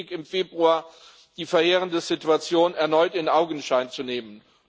Es ist richtig, im Februar die verheerende Situation erneut in Augenschein zu nehmen.